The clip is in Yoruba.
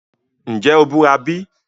Nje o bura bi?